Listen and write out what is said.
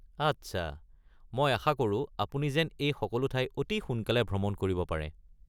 আচ্ছা, মই আশা কৰোঁ আপুনি যেন এই সকলো ঠাই অতি সোনকালে ভ্ৰমণ কৰিব পাৰে।